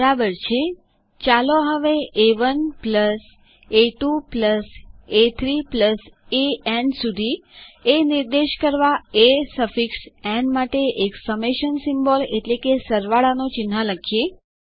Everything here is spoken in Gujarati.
બરાબર છેચાલો હવે એ1 એ2 એ3 સો ઓન એએન નિર્દેશ કરવા એ સફિક્સ ન માટે એક સમેશન સિમ્બોલ એટલેકે સરવાળાનું ચિહ્ન લખીએ